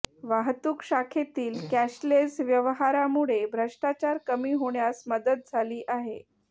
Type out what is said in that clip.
वाहतूक शाखेतील कॅशलेस व्यवहारामुळे भ्रष्टाचार कमी होण्यास मदत झाली आहे